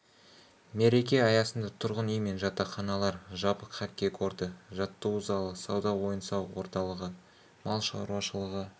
мереке аясында тұрғын үй мен жатақханалар жабық хоккей корты жаттығу залы сауда ойын-сауық орталығы мал шаруашылығы